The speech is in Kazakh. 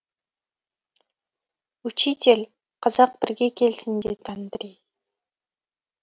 учитель қазақ бірге келсін деді андрей